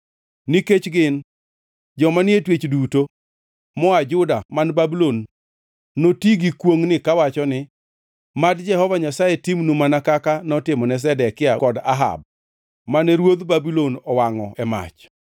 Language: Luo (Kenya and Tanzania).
Nikech gin, joma ni e twech duto moa Juda man Babulon noti gi kwongʼni kawacho ni: ‘Mad Jehova Nyasaye timnu mana kaka notimone Zedekia kod Ahab, mane ruodh Babulon owangʼo e mach.’